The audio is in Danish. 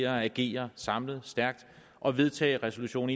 at agere samlet stærkt og vedtage resolution